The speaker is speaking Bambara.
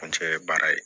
An cɛ ye baara ye